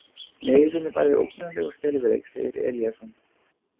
Neyðin er bæði ógnarleg og skelfileg, segir Eliasson.